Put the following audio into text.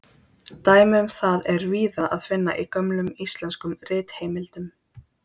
Dæmi um það er víða að finna í gömlum íslenskum ritheimildum.